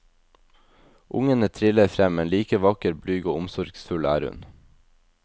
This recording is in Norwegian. Ungene triller frem, men like vakker, blyg og omsorgsfull er hun.